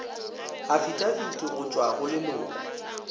afitafiti go tšwa go leloko